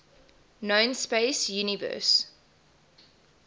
known space universe